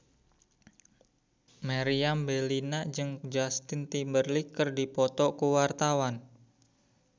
Meriam Bellina jeung Justin Timberlake keur dipoto ku wartawan